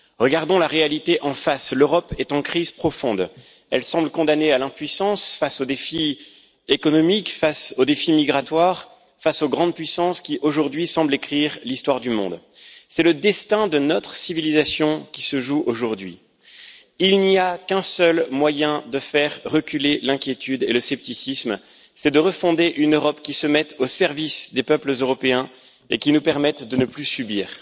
Regardons la réalité en face l'Europe est en crise profonde, elle semble condamnée à l'impuissance face aux défis économiques, face aux défis migratoires, face aux grandes puissances qui, aujourd'hui, semblent écrire l'histoire du monde. C'est le destin de notre civilisation qui se joue aujourd'hui. Il n'y a qu'un seul moyen de faire reculer l'inquiétude et le scepticisme, c'est refonder une Europe qui se mette au service des peuples européens et qui nous permette de ne plus subir,